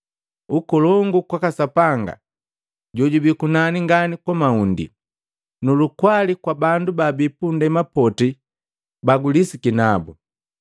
“Ukolongu kwaka Sapanga jojubi kunani ngani kumaundi, nu lukwali kwa bandu babi pundema poti bagulisiki nabu!”